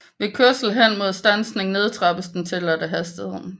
Ved kørsel hen imod standsning nedtrappes den tilladte hastighed